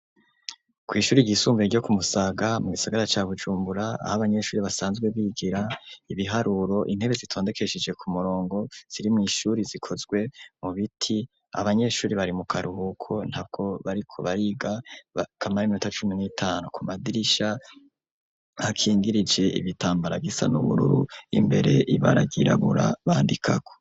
kw'ishuri ry'isumbuye ryo kumusaga, mu gisigara ca bujumbura aho abanyeshuri basanzwe bigira ibiharuro, intebe zitondekesheje ku murongo ziri mw' ishuri zikozwe mu biti, abanyeshuri bari mu karuhuko, nta bwo bariko bariga, kamara iminota cumi n'itanu ,ku madirisha hakingirije ibitambara gisa n' ubururu imbere ibara ryirabura bandikako.